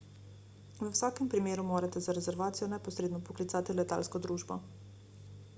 v vsakem primeru morate za rezervacijo neposredno poklicati letalsko družbo